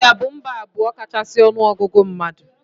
India bụ mba nke abụọ kachasị ọnụ ọgụgụ mmadụ.